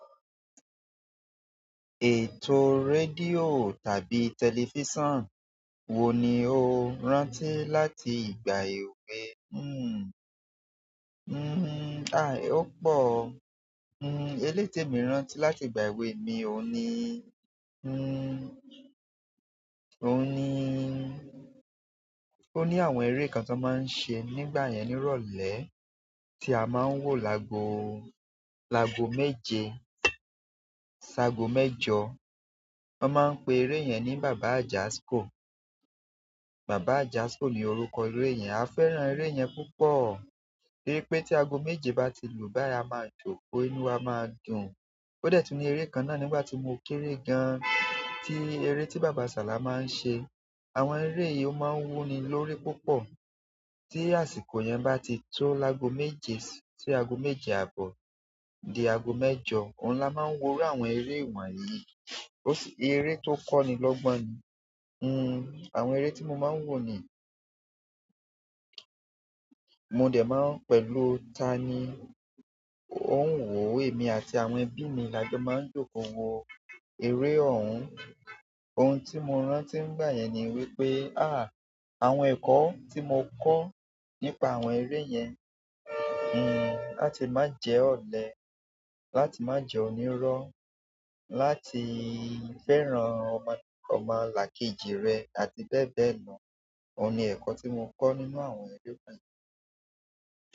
Ètò rédíò tàbí tẹlifísàn wo ni o rántí láti ìgbà èwe? Hmm, hmm, ai ó pò, hmm eléyi tè mi rántí láti ìgbà èwe mi òhun ni, hmm, òhun ni ó ní àwọn ere kan tan máa ń ṣe nígbà yẹn ní ìrọ̀lẹ́ tí a máa ń wò lago, lago méje, sago mẹ́jọ. Wọ́n máa ń pe eré yẹn ní bàbá àjàskó. Bàbá àjàsíkó ni orúkọ eré yẹn. A fẹ́ràn ère yẹn púpọ̀. Bí i pé tí ago méje bá ti lùú bayi, a máa jókòó, inú wa máa dùn. Ó dẹ̀ tun ni eré kan náà nígbà tí mo kéré gan tí eré tí bàbá ṣàlà máa ń ṣe. Àwọn ère yìí ó máa ń wúni lórí púpọ̀. Tí àsìkò yẹn bá ti tó lago méje, sí ago méje àbọ̀ di ago mẹ́jọ, òun ló máa ń wo rú àwọn eré wọ̀nyí. Ere to koni logbon ni hmm, àwọn ere tí mo máa ń wò ni, mo dẹ̀ máa ń pẹ̀lú tani ó ń wò, èmi àti àwọn ẹbi mi lajọ máa ń jókòó wo eré ọ̀hún. Ohun tí mo rántí nígbà yẹn ni wípé, à, àwọn ẹ̀kọ́ tí mo kọ́ nípa àwọn eré yẹn, hmm, láti máa jẹ́ ọ̀lẹ́, láti máa jẹ́ onírọ́, láti fẹ́ràn ọmọ làkejì rẹ àti bẹ́ẹ̀ bẹ́ẹ̀ lọ, òun ni ẹ̀kọ́ tí mo kọ́ nínú àwọn eré.